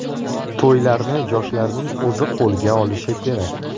To‘ylarni yoshlarning o‘zi qo‘lga olishi kerak.